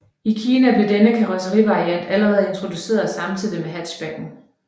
I Kina blev denne karrosserivariant allerede introduceret samtidig med hatchbacken